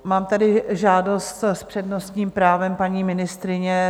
Mám tady žádost s přednostním právem paní ministryně.